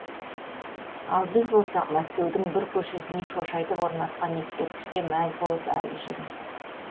ал біз болсақ мәскеудің бір көшесіне шошайтып орнатқан ескерткішке мәз болып әлі жүрміз